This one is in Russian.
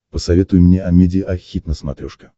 посоветуй мне амедиа хит на смотрешке